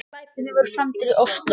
Glæpirnir voru framdir í Ósló